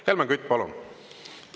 Helmen Kütt, palun!